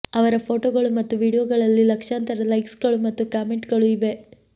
ಅವರ ಫೋಟೋಗಳು ಮತ್ತು ವೀಡಿಯೊಗಳಲ್ಲಿ ಲಕ್ಷಾಂತರ ಲೈಕ್ಸ್ಗಳು ಮತ್ತು ಕಾಮೆಂಟ್ಗಳು ಇವೆ